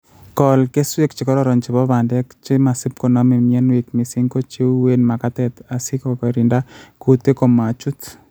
Kool keswek chekororon chebo bandek che masip koname mianwek missing ko cheuwen magatet asi kogirinda kutik komachut